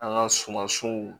An ka sumansiw